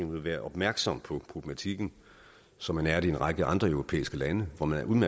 vil være opmærksom på problematikken som man er det i en række andre europæiske lande hvor man